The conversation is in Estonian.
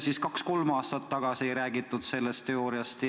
Miks kaks-kolm aastat tagasi ei räägitud sellest teooriast?